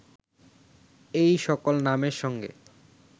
এই সকল নামের সঙ্গে